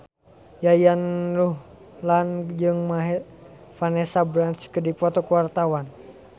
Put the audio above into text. Yayan Ruhlan jeung Vanessa Branch keur dipoto ku wartawan